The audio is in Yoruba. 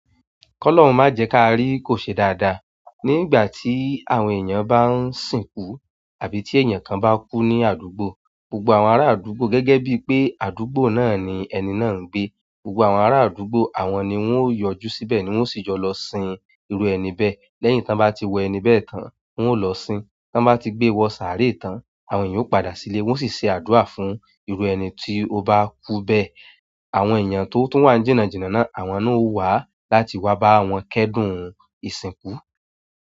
"Kọ́lóhun má jẹ ká rí" kò ṣe dáadáa. Ní ìgbà tí àwọn èèyàn bá ń sìnkú àbí tí èèyàn kan bá kú ní àdúgbò, gbogbo àwọn ará àdúgbò gẹ́gẹ́ bí pé àdúgbò náà ni ẹni náà ń gbé, gbogbo àwọn ará àdúgbò àwọn ni wọ́n ó yọjú síbẹ̀ ni wọ́n sì yọ lọ sin irú ẹni bẹ́ẹ̀. Lẹ́yìn tí wọ́n bá ti wẹ ẹni bẹ́ẹ̀ tán, wọ́n ó lọ sin. Tí wọ́n bá ti gbé wọ sàárè tán, àwọn èèyàn ó padà sílé, wọ́n sì ṣe àdúrà fún irú ẹni tí ó bá kú bẹ́ẹ̀. Àwọn eyan to wa ni jinajina náà àwọn náà o wa láti wa ba wọn kedun ìsìnkú.